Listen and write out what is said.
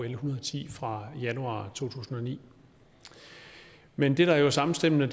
en hundrede og ti fra januar to tusind og ni men det der er samstemmende